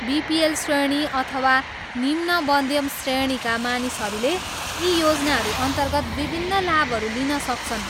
BPL श्रेणी अथवा निम्न मध्यम् श्रेणीका मानिसहरूले यी योजनाहरूअन्तर्गत विभिन्न लाभहरू लिन सक्छन्।